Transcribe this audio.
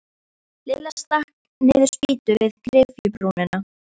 Lilla stakk niður spýtu við gryfjubrúnina.